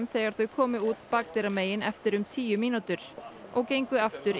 þegar þau komu út bakdyramegin eftir um tíu mínútur og gengu aftur